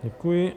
Děkuji.